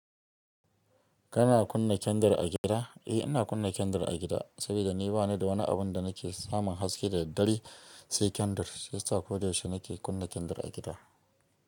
Kana kunna kendir a gida? Eh, ina kunna kendir a gida, saboda ni bani da wani abin da nake samun haske da daddare, sai kendir. Sai sa ko da yaushe nake kunna kendir a gida.